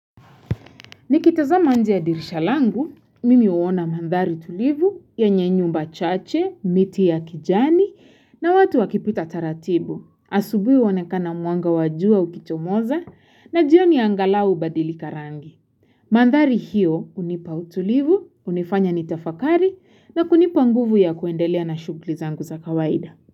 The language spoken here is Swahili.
Nikitazama nje ya dirisha langu, mimi huona mandhari tulivu yenye nyumba chache, miti ya kijani na watu wakipita taratibu. Asubuhi huonekana mwanga wa jua ukichomoza na jioni angalau hubadilika rangi. Mandhari hiyo hunipa utulivu, hunifanya nitafakari na kunipa nguvu ya kuendelea na shuguli zangu za kawaida.